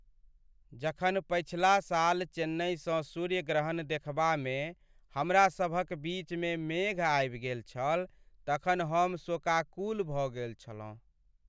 जखन पछिला साल चेन्नईसँ सूर्य ग्रहण देखबामे हमरा सभ क बीच मे मेघ आबि गेल छल तखन हम शोकाकुल भऽ गेल छलहुँ।